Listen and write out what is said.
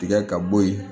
Tigɛ ka bɔ yen